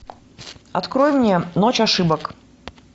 открой мне ночь ошибок